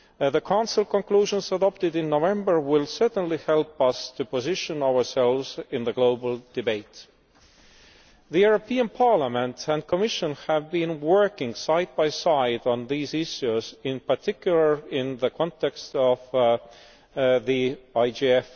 The Council conclusions adopted in November will certainly help us to position ourselves in the global debate. The European Parliament and Commission have been working side by side on these issues, in particular in the context of the IGF.